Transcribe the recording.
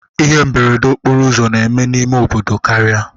Ihe mberede okporo ụzọ na-eme n'ime obodo karịa